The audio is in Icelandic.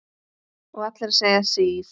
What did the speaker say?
Og allir að segja sís!